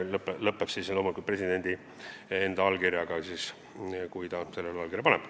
Protsess lõpeb loomulikult presidendi allkirjaga, kui ta selle paneb.